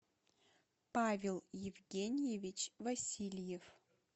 павел евгеньевич васильев